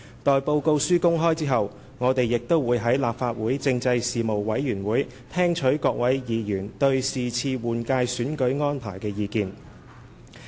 待報告書公開後，我們亦會在立法會政制事務委員會聽取各位議員對這次換屆選舉安排的意見。